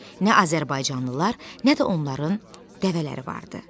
Nə azərbaycanlılar, nə də onların dəvələri vardı.